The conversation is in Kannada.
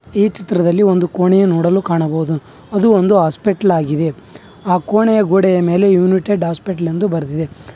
ಈ ಚಿತ್ರದಲ್ಲಿ ಒಂದು ಕೋಣೆ ನೋಡಲು ಕಾಣಬಹುದು ಅದು ಒಂದು ಹಾಸ್ಪಿಟಲ್ ಆಗಿದೆ ಆ ಕೋಣೆಯ ಗೋಡೆಯ ಮೇಲೆ ಯುನುಟೆಡ್ ಹಾಸ್ಪಿಟಲ್ ಎಂದು ಬರದಿದೆ.